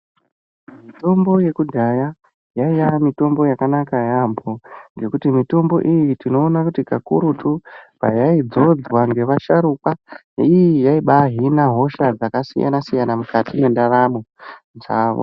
Mitombo yekudhaya yaiye mitombo yakanaka yaamho ngekuti mitombo iyi tinoona kuti kakurutu payaidzodzwa ngevasharuka ii yaiba yahina hosha dzakasiyanasiyan mukati mwendaramo dzavo.